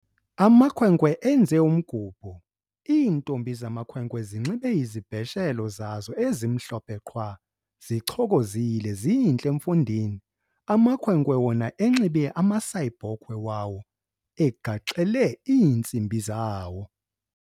Amakhwenkwe enze umgubho, iintombi zamakhwenkwe zinxibe izibheshelo zazo ezimhlophe qhwa, zichokozile zintle mfondini! amakhwenkwe wona enxibe amasayibhokhwe wawo egaxele iintsimbi zawo.